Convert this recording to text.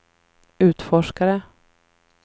utforskare